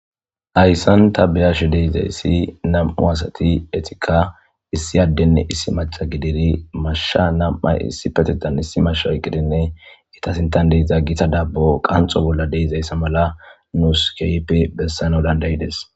Hayssanta beyashe deizayssi nam'u asati etika issi addenne issi maca gidiri mashsha nam'ay issi patetan issi masha eqqidinne itasintan deiza gita daabbo qanxo bolla deizayssa mala nuuskeype bessana dandayides.